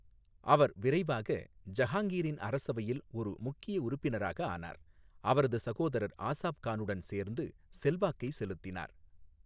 அவர் விரைவாக ஜஹாங்கிரின் அரசவையில் ஒரு முக்கிய உறுப்பினராக ஆனார், அவரது சகோதரர் ஆசாப் கானுடன் சேர்ந்து செல்வாக்கை செலுத்தினார்.